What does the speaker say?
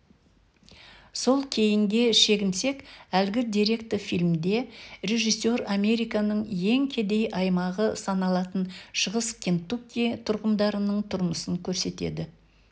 сәл кейінге шегінсек әлгі деректі фильмде режиссер американың ең кедей аймағы саналатын шығыс кентукки тұрғындарының тұрмысын көрсетеді